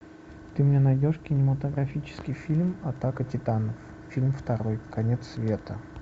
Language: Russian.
ты мне найдешь кинематографический фильм атака титанов фильм второй конец света